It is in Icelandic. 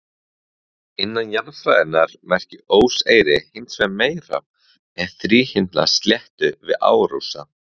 Innan jarðfræðinnar merkir óseyri hins vegar meira en þríhyrnda sléttu við árósa.